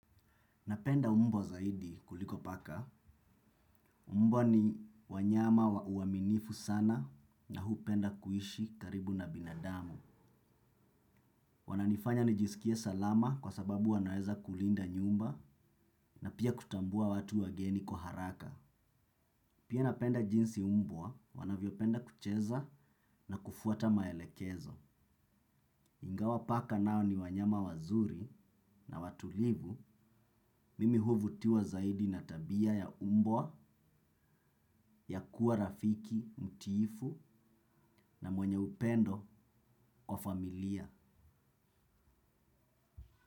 Napenda mbwa zaidi kuliko paka. Mbwa ni wanyama wa uaminifu sana na hupenda kuishi karibu na binadamu. Wananifanya nijisikie salama kwa sababu wanaweza kulinda nyumba na pia kutambua watu wageni kwa haraka. Pia napenda jinsi mbwa wanavyopenda kucheza na kufuata maelekezo. Ingawa paka nao ni wanyama wazuri na watulivu, mimi huvutiwa zaidi na tabia ya mbwa, ya kuwa rafiki, mtiifu na mwenye upendo wa familia.